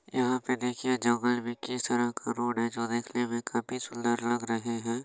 यहाँ पे देखिये जंगल में किस तरह का रोड है जो देखने में काफी सुन्दर लग रहे है।